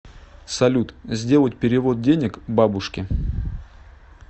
салют сделать перевод денег бабушке